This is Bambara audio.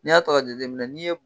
N'i y'a to k'a jateminɛ n'i ye